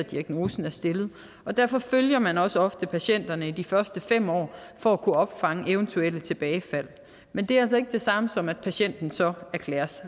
at diagnosen er stillet og derfor følger man også ofte patienterne i de første fem år for at kunne opfange eventuelle tilbagefald men det er altså ikke det samme som at patienten så erklæres